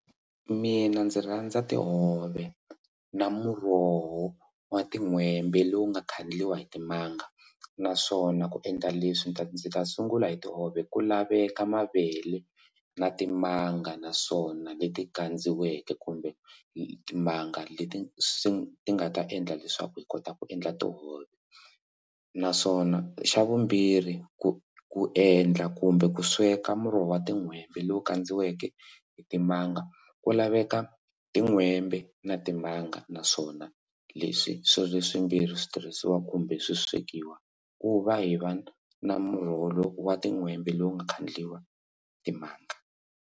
Mina ndzi rhandza tihove na muroho wa tin'hwembe lowu nga khandliwa hi timanga naswona ku endla leswi ta ndzi ta sungula hi tihove ku laveka mavele na timanga naswona leti kandziweke kumbe timanga leti swi ti nga ta endla leswaku hi kota ku endla tihove naswona xa vumbirhi ku ku endla kumbe ku sweka muroho wa tin'hwembe lowu kandziweke hi timanga ku laveka tin'hwembe na timanga naswona leswi swi ri swimbirhi switirhisiwa kumbe swi swekiwa ku va hi va na muroho wa tin'hwembe lowu nga khandliwa timanga.